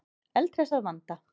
Eldhress að vanda.